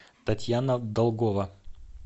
татьяна долгова